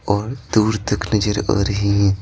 और दूर तकनजर आ रही हैं।